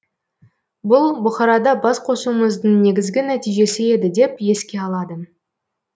бұл бұқарада бас қосуымыздың негізгі нәтижесі еді деп еске алады